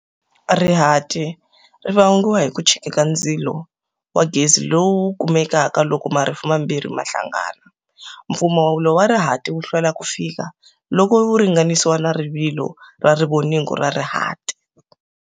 Rihati ri vangiwa hi ku chika ka ndzilo wa gezi lowu kumekaka loko marifu mambirhi ma hlangana. Mpfumawulo wa rihati wa hlwela ku fika, loko wu ringanisiwa na rivilo ra rivoningo ra rihati.